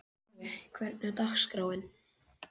Nói, hvernig er dagskráin?